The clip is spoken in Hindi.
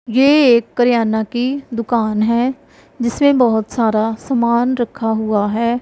ये एक करियाना की दुकान हैं जिसमें बहुत सारा सामान रखा हुआ हैं।